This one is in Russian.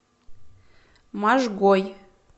можгой